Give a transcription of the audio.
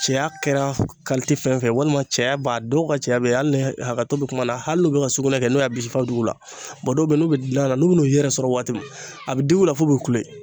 cɛya kɛra fɛn o fɛn ye walima cɛya b'a dɔw ka cɛya bɛ hali n'i ye hakɛto be kuma na hali n'u be ka sugunɛ kɛ n'u y'a bisi f'a be dig'u la. dɔw be ye n'u be dilan na n'u bun'u yɛrɛ sɔrɔ waati min a be dig'u la f'u be kule.